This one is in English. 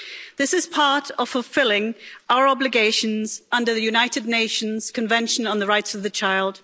This is part of fulfilling our obligations under the United Nations Convention on the Rights of the Child.